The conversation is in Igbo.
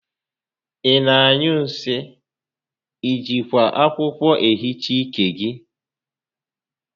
Ị na-anyụ nsị? I jikwa akwụkwọ ehicha ike gị?